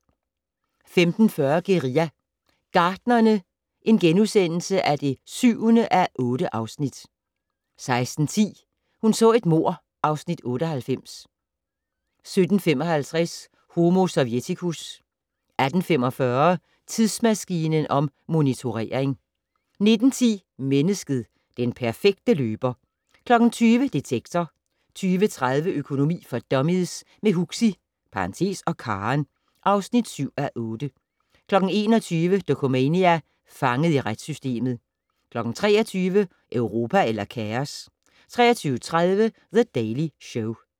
15:40: Guerilla Gartnerne (7:8)* 16:10: Hun så et mord (Afs. 98) 17:55: Homo sovjeticus 18:45: Tidsmaskinen om motionering 19:10: Mennesket - den perfekte løber 20:00: Detektor 20:30: Økonomi for dummies - med Huxi (og Karen) (7:8) 21:00: Dokumania: Fanget i retssystemet 23:00: Europa eller kaos? 23:30: The Daily Show